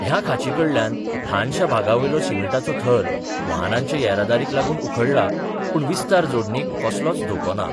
हया खांचीकडल्या ल्हानशा भागावयलो सिमीटाचो थर वाहनांच्या येरादारीक लागून उखडला, पूण विस्तार जोडणीक कसलोच धोको ना.